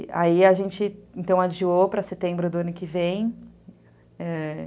E aí a gente, então, adiou para setembro do ano que vem. ãh